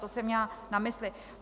To jsem měla na mysli.